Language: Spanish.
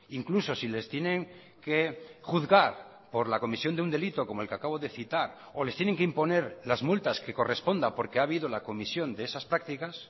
incluso si les tienen que juzgar por la comisión de un delito como el que acabo de citar o les tienen que imponer las multas que corresponda porque ha habido la comisión de esas prácticas